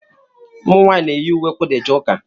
Ụmụ nwanyị na-eyi ùwé kwudà eje ụka.